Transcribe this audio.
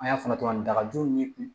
An y'a fɔ cogo min na dagajo ye